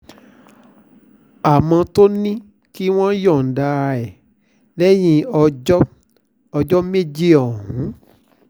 àmọ́ tó ní kí wọ́n yọ̀ǹda ẹ̀ lẹ́yìn ọjọ́ ọjọ́ méjì ọ̀hún